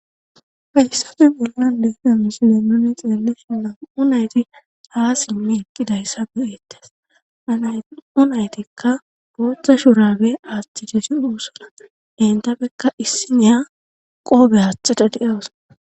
fayssosi bolla de'iya misile nuni xeelle shilam'u nayti haa simmi eqqidayssa bueettes anay'u naytikka gooththa shurage aaththi desi uussana dentappekka issiniya qoobe haaxada de'awos.